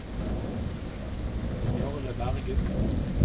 Jarle Bergum